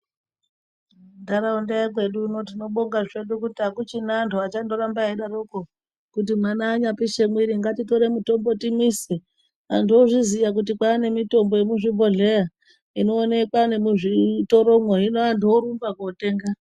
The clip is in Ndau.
Ntaraunda yekwedu uno tinobonga zvedu kuti akuchina antu achandoramba eidaroko kuti mwana anyapishe mwiri ngatitore mutombo timwise. Antu ozviziya kuti kwane mitombo yemuzvibhodhleya inoonekwa nemuzvitoromwo, hino antu orumba kootenga.